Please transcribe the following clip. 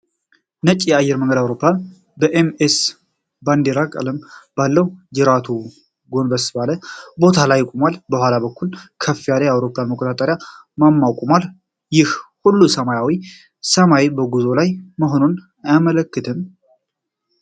ነጭ የአየር መንገድ አውሮፕላን በኤም ኤም ባንዲራ ቀለም ባለው ጅራቱ ጎንበስ ባለ ቦታ ላይ ቆሟል። ከኋላ በኩል ከፍ ያለ የአውሮፕላን መቆጣጠሪያ ማማ ቆሟል። ይህ ሁሉ ሰማያዊው ሰማይ በጉዞ ላይ መሆኑን አያመለክትም?